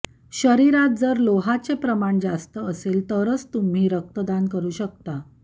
शरीरात जर लोहाचे प्रमाण जास्त असेल तरच तुम्ही रक्तदान करू शकता